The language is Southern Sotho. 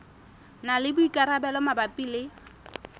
na le boikarabelo mabapi le